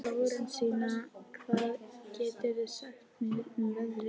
Lárensína, hvað geturðu sagt mér um veðrið?